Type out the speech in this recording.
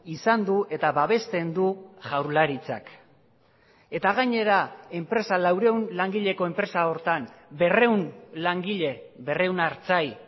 izan du eta babesten du jaurlaritzak eta gainera enpresa laurehun langileko enpresa horretan berrehun langile berrehun artzain